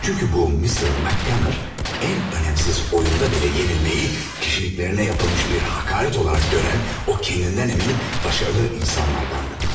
Çünkü bu Mr. McGanner en önemsiz oyunda bile yenilmeyi kişiliklerine yapılmış bir hakaret olarak gören o kendinden emin, başarılı insanlardandı.